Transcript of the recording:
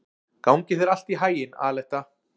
Gangi þér allt í haginn, Aletta.